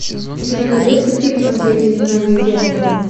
у тебя найдется фильм последнее изгнание дьявола